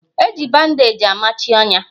Eji bandeeji amachi ọnya